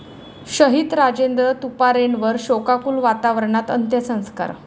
शहीद राजेंद्र तुपारेंवर शोकाकूल वातावरणात अंत्यसंस्कार